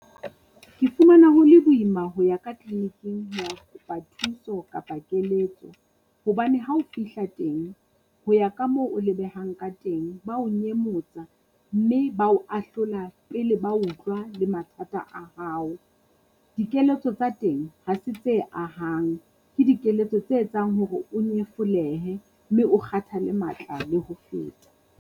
Ke fumana ho le boima ho ya kleniking ho ya kopa thuso kapa keletso. Hobane ha o fihla teng, ho ya ka moo o lebehang ka teng ba o nyemotsa mme ba o ahlola pele ba utlwa le mathata a hao. Dikeletso tsa teng ha se tse ahang. Ke dikeletso tse etsang hore o nyefolehe mme o kgathale matla le ho feta.